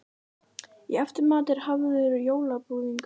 Í eftirmat er hafður jólabúðingur.